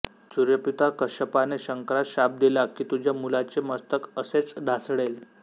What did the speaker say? सूर्यपिता कश्यपाने शंकरास शाप दिला की तुझ्या मुलाचे मस्तक असेच ढासळेल